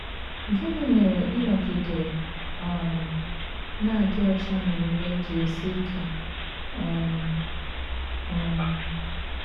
Gịnị mere ịnọgide um na - adị ọcha n’omume ji esi ike um? um